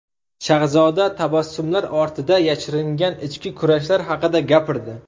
Shahzoda tabassumlar ortida yashiringan ichki kurashlar haqida gapirdi.